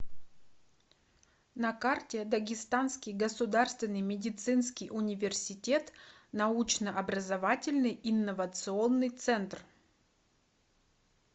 на карте дагестанский государственный медицинский университет научно образовательный инновационный центр